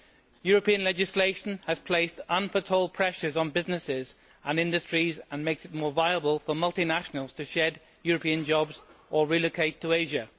European legislation has placed unforetold pressures on businesses and industries and makes it more viable for multinationals to shed European jobs or relocate to Asia.